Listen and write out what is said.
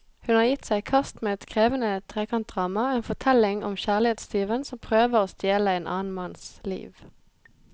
Hun har gitt seg i kast med et krevende trekantdrama, en fortelling om kjærlighetstyven som prøver å stjele en annen manns liv.